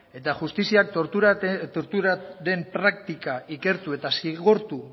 eta justiziak torturaren praktika ikertu eta zigortu